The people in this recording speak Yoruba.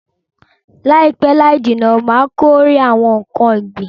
Laipe laijinna Ma kórè awon nkan ogbin